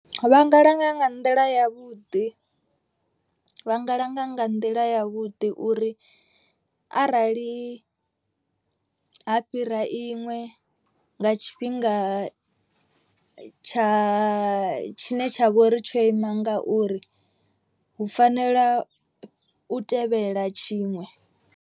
Vha nga langa nga nḓila ya vhuḓi vha nga langa nga nḓila ya vhuḓi. Uri arali ha fhira iṅwe nga tshifhinga tsha tshine tsha vha uri tsho ima ngauri hu fanela u tevhela tshiṅwe.